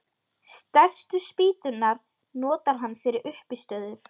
Stærstu spýturnar notar hann fyrir uppistöður.